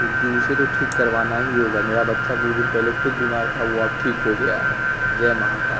क्योंकि उसे तो ठीक करवाना ही होगा मेरा बच्चा कुछ दिन पहले खुद बीमार था वो अब ठीक हो गया है जय महाकाल। --